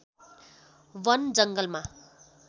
वन जङ्गलमा